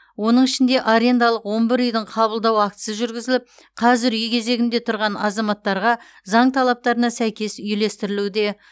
оның ішінде арендалық он бір үйдің қабылдау актісі жүргізіліп қазір үй кезегінде тұрған азаматтарға заң талаптарына сәйкес үйлестірілуде